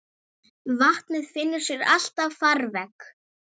Vatnið finnur sér alltaf farveg.